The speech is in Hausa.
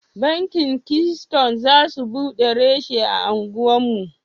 Banki keystone za su buɗe rashi a anguwar mu.